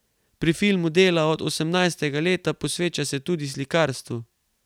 Pri filmu dela od osemnajstega leta, posveča se tudi slikarstvu.